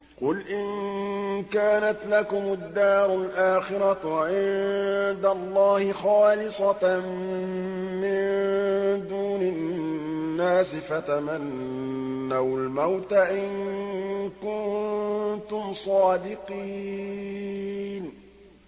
قُلْ إِن كَانَتْ لَكُمُ الدَّارُ الْآخِرَةُ عِندَ اللَّهِ خَالِصَةً مِّن دُونِ النَّاسِ فَتَمَنَّوُا الْمَوْتَ إِن كُنتُمْ صَادِقِينَ